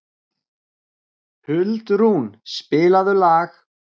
Huldrún, spilaðu lag.